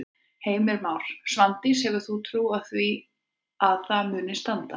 Heimir Már: Svandís hefur þú trú á því að það muni standa?